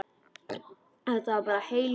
Þetta var bara heil ræða.